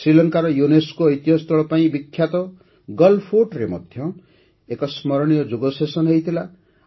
ଶ୍ରୀଲଙ୍କାର ୟୁନେସ୍କୋ ଐତିହ୍ୟସ୍ଥଳ ପାଇଁ ବିଖ୍ୟାତ ଗଲ୍ ଫୋର୍ଟରେ ମଧ୍ୟ ଏକ ସ୍ମରଣୀୟ ଯୋଗ ସେସନ୍ ହୋଇଥିଲା